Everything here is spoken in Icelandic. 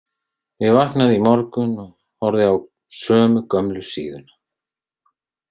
Ég vaknaði í morgun og horfði á sömu gömlu síðuna.